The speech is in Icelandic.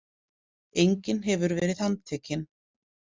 Enginn hefur verið handtekinn